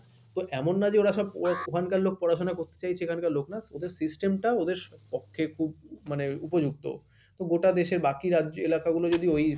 তো এমন নয় যে ওরা সব ওখানকার লোক পড়াশুনা করতে চাইছে এখানকার লোক না ওদের system টা ওদের পক্ষে খুব মানে উপযুক্ত তো গোটা দেশের বাকি রাজ্য এলাকাগুলো যদি ওই;